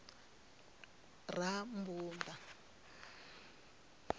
rammbuḓa